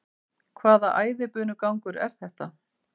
Hvaða æðibunugangur er þetta?